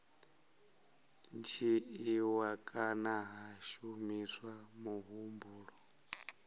dzhiiwa kana ha shumiswa muhumbulo